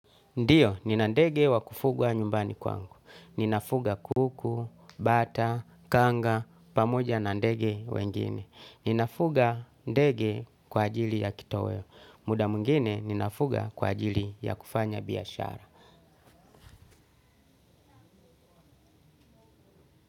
Ndiyo, ninandege wa kufugwa nyumbani kwangu. Ninafuga kuku, bata, kanga pamoja na ndege wengine. Ninafuga ndege kwa ajili ya kitoweo. Muda mwingine, ninafuga kwa ajili ya kufanya biashara.